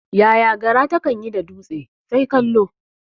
Yaya gara takan yi da dutse? Sai kallo.